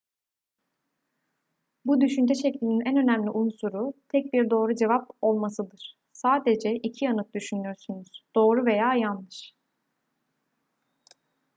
bu düşünce şeklinin en önemli unsuru tek bir doğru cevap olmasıdır sadece iki yanıt düşünürsünüz doğru veya yanlış